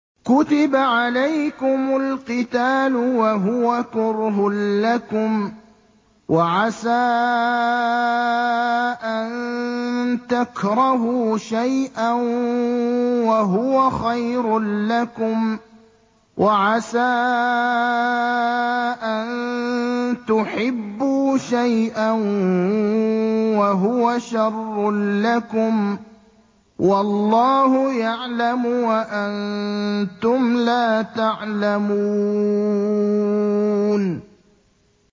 كُتِبَ عَلَيْكُمُ الْقِتَالُ وَهُوَ كُرْهٌ لَّكُمْ ۖ وَعَسَىٰ أَن تَكْرَهُوا شَيْئًا وَهُوَ خَيْرٌ لَّكُمْ ۖ وَعَسَىٰ أَن تُحِبُّوا شَيْئًا وَهُوَ شَرٌّ لَّكُمْ ۗ وَاللَّهُ يَعْلَمُ وَأَنتُمْ لَا تَعْلَمُونَ